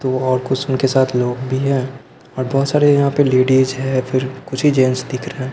तो और कुछ उनके साथ लोग भी हैं और बहुत सारे यहां पे लेडीज है फिर कुछ ही जेंस दिख रहे हैं।